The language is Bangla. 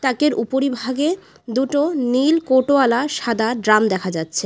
তাকের উপরিভাগে দুটো নীল কোটওয়ালা সাদা ড্রাম দেখা যাচ্ছে।